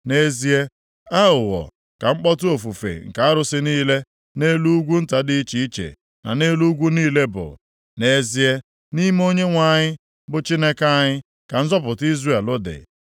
Nʼezie, aghụghọ, ka mkpọtụ ofufe nke arụsị niile, nʼelu ugwu nta dị iche iche na nʼelu ugwu niile bụ, nʼezie, nʼime Onyenwe anyị, bụ Chineke anyị ka nzọpụta Izrel dị.